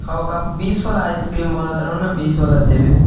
होउ का बीस वाला आइसक्रीम बना तारहु न बीस वाला देवे।